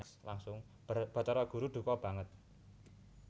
Bathara Guru duka banget